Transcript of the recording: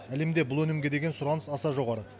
әлемде бұл өнімге деген сұраныс аса жоғары